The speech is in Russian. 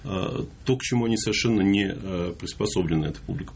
то к чему они совершенно не приспособлены эта публика